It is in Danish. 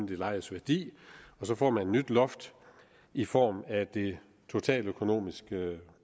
det lejedes værdi og så får man et nyt loft i form af det totaløkonomiske